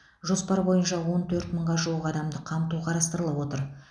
жоспар бойынша он төрт мыңға жуық адамды қамту қарастырылып отыр